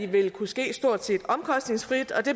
vil kunne ske stort set omkostningsfrit og det